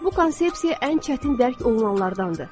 Bu konsepsiya ən çətin dərk olunanlardandır.